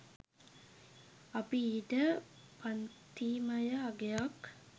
අපි ඊට පන්තිමය අගයක්